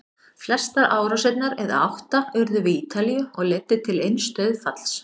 Flestar árásirnar, eða átta, urðu við Ítalíu og leiddu til eins dauðsfalls.